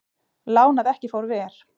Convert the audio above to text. Lán að ekki fór ver